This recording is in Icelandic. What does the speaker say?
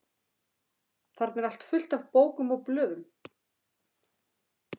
Þarna er allt fullt af bókum og blöðum.